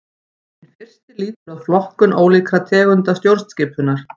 Hinn fyrsti lýtur að flokkun ólíkra tegunda stjórnskipunar.